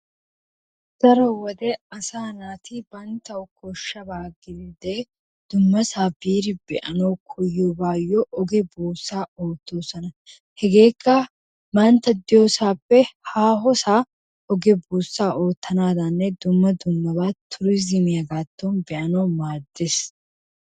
Daro wode asaa naati banttawu koshshaba giide dummasaa biidi be"anwu koyiyoogaayo oge buussaa oottoosona. Hegeekka bantta de'iyoosaappe haahosaa oge buusaa oottanaadaninne dumma dummaba turiizimiyabaaton be"anawu maades.